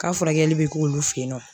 K'a furakɛli bɛ k'olu fɛ yen nɔ